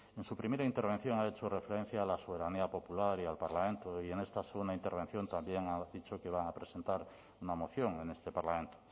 en su primera intervención ha hecho referencia a la soberanía popular y al parlamento y en esta segunda intervención también ha dicho que van a presentar una moción en este parlamento